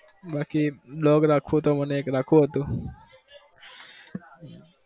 બાકી dog રાખવો તો મને એક રાખવો હતો.